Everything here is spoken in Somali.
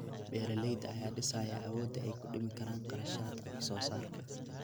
Beeralayda ayaa dhisaya awoodda ay ku dhimi karaan kharashaadka wax soo saarka.